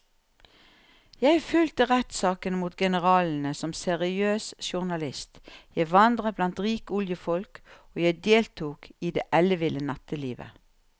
Jeg fulgte rettssakene mot generalene som seriøs journalist, jeg vandret blant rike oljefolk og jeg deltok i det elleville nattelivet.